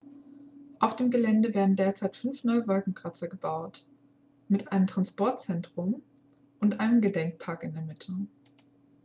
auf dem gelände werden derzeit fünf neue wolkenkratzer gebaut mit einem transportzentrum und einem gedenkpark in der mitte